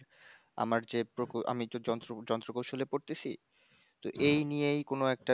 আমার যে আমি প্রকো, আমি যে যন্ত্র, যন্ত্র কৌশলে পরতাসি তো এই নিয়েই কোনো একটা